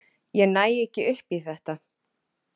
Ég næ ekki upp í þetta.